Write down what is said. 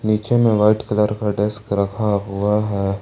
पीछे में white colour का डेस्क रखा हुआ है।